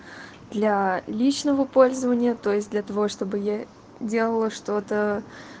для личного пользования то есть для того чтобы я делала что-то